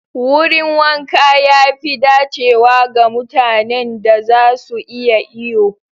Wurin wanka ya fi dacewa ga mutanen da za su iya iyo.